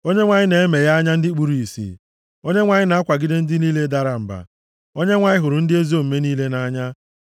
Onyenwe anyị na-emeghe anya ndị kpuru ìsì, Onyenwe anyị na-akwagide ndị niile dara mba, Onyenwe anyị hụrụ ndị ezi omume niile nʼanya.